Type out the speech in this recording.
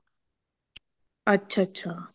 ਅੱਛਾ ਅੱਛਾ